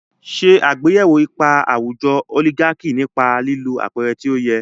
Ṣe àgbéyẹ̀wò ipa àwùjọ oligaki nípa lílo àpẹẹrẹ tó yẹ.